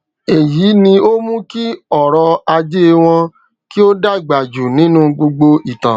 èyí ni o mú kí ọrọ ajẹ wọn kì o dàgbà jù nínú gbogbo ìtàn